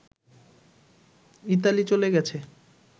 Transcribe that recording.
Italy চলে গেছে